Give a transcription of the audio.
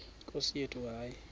nkosi yethu hayi